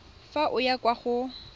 fa o ya kwa go